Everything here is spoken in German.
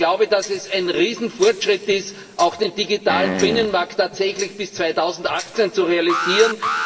Ich glaube, dass es ein Riesenfortschritt ist, auch den digitalen Binnenmarkt tatsächlich bis 2018 zu realisieren.